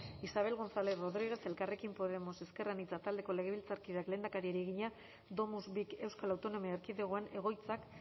isabel gonzález rodríguez elkarrekin podemos ezker anitza taldeko legebiltzarkideak lehendakariari egina domus vik euskal autonomia erkidegoan egoitzak